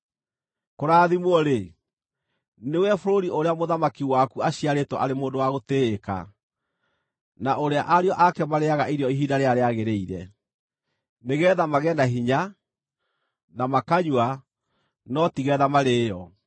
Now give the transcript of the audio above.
Kũrathimwo-rĩ, nĩwe bũrũri ũrĩa mũthamaki waku aaciarĩtwo arĩ mũndũ wa gũtĩĩka, na ũrĩa ariũ ake marĩĩaga irio ihinda rĩrĩa rĩagĩrĩire: nĩgeetha magĩe na hinya, na makanyua, no ti geetha marĩĩo.